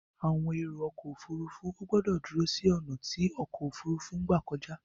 Àwọn èrò ọkọ̀ òfurufú ò gbọ̀dọ dúró sí ọ̀nà tí ọkọ̀ òfurufú máa gbà kọjá.